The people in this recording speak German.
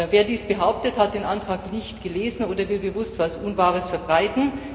Wer dies behauptet, hat den Antrag nicht gelesen oder will bewusst etwas Unwahres verbreiten.